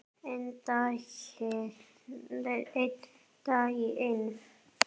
Einn dag í einu.